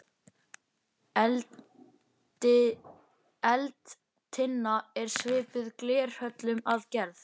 Eldtinna er svipuð glerhöllum að gerð.